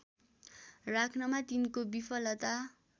राख्नमा तिनको विफलता